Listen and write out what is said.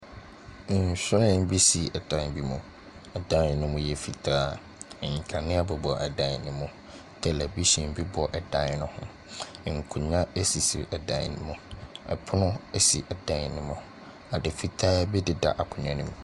Nhwiren bi si dan bi mu. Ɛdan no mu yɛ fitaa. Nkanea bobɔ dan no mu. Tɛlɛbihyen bobɔ dan no ho. Nkonnwa sisi dan no mu. Pono si dan no mu. Ade fitaa bi deda akonnwa no mu.